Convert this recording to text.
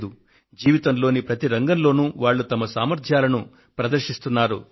కానీ వారు జీవితంలోని ప్రతి రంగంలోనూ వారు వారి సామర్థ్యాలను ప్రదర్శిస్తున్నారు